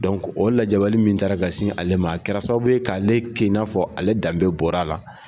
o lajabali min ta la ka sin ale ma, a kɛra sababu ye k'ale kɛ n'a fɔ ale danbe bɔra a la.